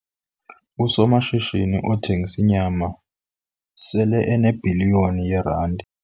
Usomashishini othengisa inyama sele enebhiliyoni yeerandi.